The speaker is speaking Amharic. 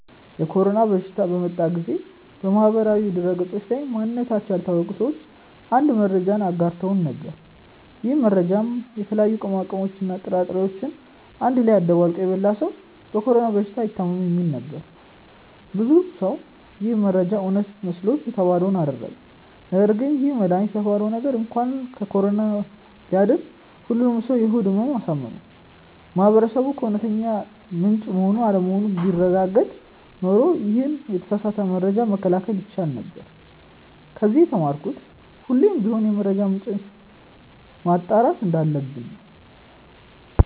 የኮሮና በሽታ በመጣ ጊዜ በማህበራዊ ድህረገጾች ላይ ማንነታቸው ያልታወቀ ሰዎች አንድ መረጃን አጋርተው ነበር። ይህ መረጃም የተለያዩ ቅመሞችን እና ጥራጥሬዎችን አንድ ላይ አደባልቆ የበላ ሰው በኮሮና በሽታ አይታምም የሚል ነበር። ብዙ ሰው ይህ መረጃ እውነት መስሎት የተባለውን አደረገ ነገርግን ይህ መድሃኒት የተባለው ነገር እንኳን ከኮሮና ሊያድን ሁሉንም ሰው የሆድ ህመም አሳመመ። ማህበረሰቡ ከእውነተኛ ምንጭ መሆን አለመሆኑን ቢያረጋግጥ ኖሮ ይሄንን የተሳሳተ መረጃ መከላከል ይቻል ነበር። ከዚ የተማርኩት ሁሌም ቢሆን የመረጃ ምንጭን ማጣራት እንዳለብን ነው።